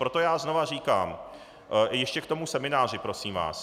Proto já znova říkám, ještě k tomu semináři, prosím vás -